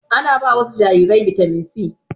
Ana ba wasu jarirai bitamin C